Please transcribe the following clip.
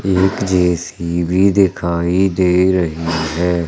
एक जे_सी_बी दिखाई दे रही है।